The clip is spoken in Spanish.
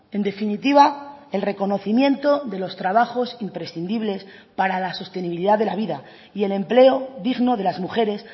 en definitiva el reconocimiento de los trabajos imprescindibles para la sostenibilidad de la vida y el empleo digno de las mujeres